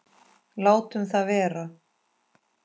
Látum það vera.